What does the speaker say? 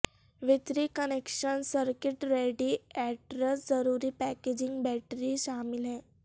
وتری connection circuit radiators ضروری packaging battery شامل ہے